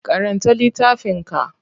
Karanta littafin ka.